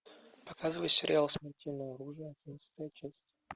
показывай сериал смертельное оружие одиннадцатая часть